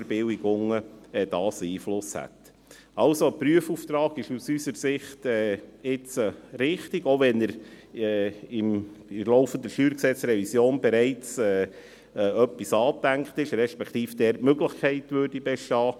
Somit ist ein Prüfauftrag aus unserer Sicht jetzt richtig, auch wenn in der laufenden StG-Revision bereits etwas angedacht ist, beziehungsweise dort die Möglichkeit dazu bestünde.